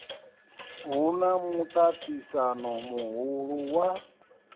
hu na muṱaṱisano muhulu wa